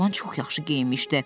Oğlan çox yaxşı geyinmişdi.